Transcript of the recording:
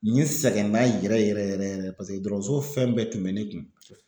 Ɲɛ sɛgɛnna yɛrɛ yɛrɛ yɛrɛ yɛrɛ paseke dɔgɔtɔrɔso fɛn bɛɛ tun bɛ nen kun.